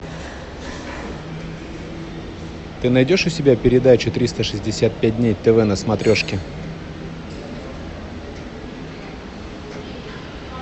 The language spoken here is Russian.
ты найдешь у себя передачу триста шестьдесят пять дней тв на смотрешке